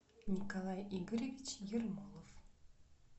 николай игоревич ермолов